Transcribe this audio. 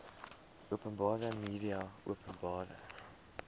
openbare media openbare